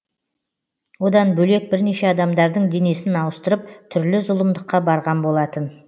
одан бөлек бірнеше адамдардың денесін ауыстырып түрлі зұлымдыққа барған болатын